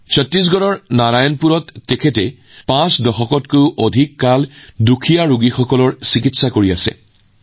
৫ দশকৰো অধিক সময় ধৰি ছত্তীশগড়ৰ নাৰায়ণপুৰত দৰিদ্ৰ ৰোগীক সেৱা আগবঢ়াই আহিছে